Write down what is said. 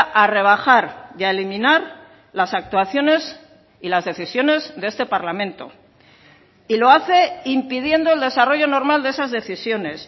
a rebajar y a eliminar las actuaciones y las decisiones de este parlamento y lo hace impidiendo el desarrollo normal de esas decisiones